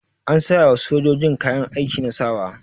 An sayawa sojoji kayan aiki na sawa.